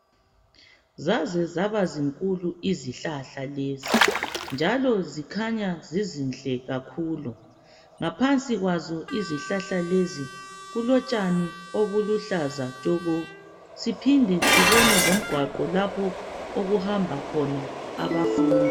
Zazezabazinkulu izihlahla lezi njalo zikhanya zizinhle kakhulu. Ngaphansi kwazo izihlahla lezi kulotshani obuluhlaza tshoko. Siphinde sibone lomgwaqo lapho okuhamba khona abafundi.